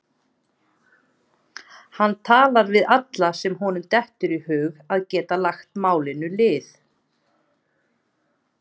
Hann talar við alla sem honum dettur í hug að geti lagt málinu lið.